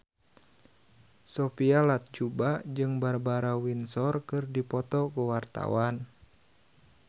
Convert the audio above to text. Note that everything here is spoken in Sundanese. Sophia Latjuba jeung Barbara Windsor keur dipoto ku wartawan